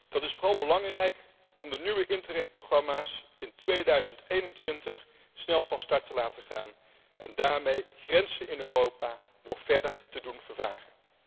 Dat is vooral belangrijk om de nieuwe Interreg programma's in 2021 snel van start te laten gaan en daarmee grenzen in Europa nog verder te doen vervagen.